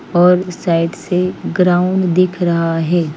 और साइड से ग्राउंड दिख रहा है।